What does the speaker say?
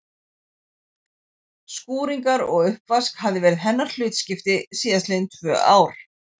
Skúringar og uppvask hafði verið hennar hlutskipti síðast liðin tvö ár.